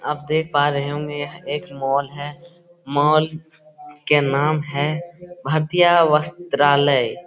आप देख पा रहे होंगे एक मॉल है मॉल के नाम है भारतीय वस्त्रालय।